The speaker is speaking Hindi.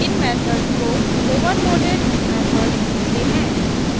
इन मेथड को overloaded methods कहते हैं